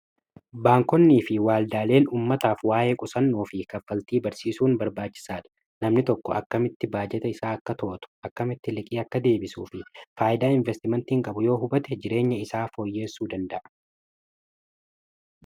Baankonnii fi waaldaaleen ummataaf waa'ee qusannoo fi kaffaltii barsiisuun barbaachisaadha. Namni tokko akkamitti baajeta isaa akka to'atu akkamitti liqii akka deebisuu fi faayidaa investimentiin qabu yoo hubate jireenya isaa fooyyeessuu danda'a.